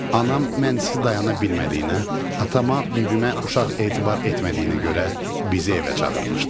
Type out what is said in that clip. Anam mənsiz dayana bilmədiyinə, atama, bibimə uşaq etibar etmədiyinə görə bizi evə çağırmışdı.